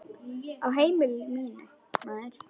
Á heimili mínu, maður.